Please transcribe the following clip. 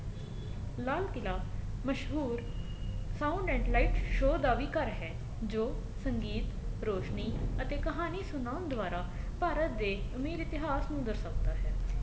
ਲਾਲ ਕਿਲ੍ਹਾ ਮਸ਼ਹੂਰ sound and light show ਦਾ ਵੀ ਘਰ ਹੈ ਜੋ ਸੰਗੀਤ ਰੋਸ਼ਨੀ ਅਤੇ ਕਹਾਣੀ ਸੁਣਾਉਣ ਦੁਆਰਾ ਭਾਰਤ ਦੇ ਅਮੀਰ ਇਤਿਹਾਸ ਨੂੰ ਦਰਸਾਉਂਦਾ ਹੈ